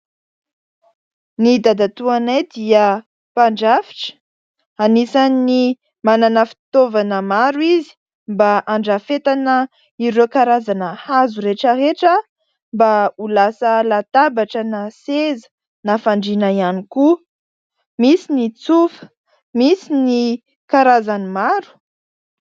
Ny dadatoanay dia mpandrafitra anisan'ny manana fitaovana maro izy mba andrafetana ireo karazana hazo rehetraretra mba ho lasa latabatra na seza na fandriana ihany koa misy ny tsofa, misy ny karazany maro.